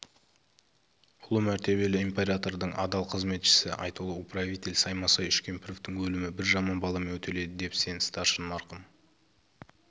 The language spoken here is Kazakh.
ұлы мәртебелі императордың адал қызметшісі айтулы управитель саймасай үшкемпіровтың өлімі бір жаман баламен өтеледі деп сен старшын марқұм